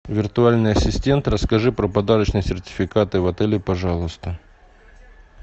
виртуальный ассистент расскажи про подарочные сертификаты в отеле пожалуйста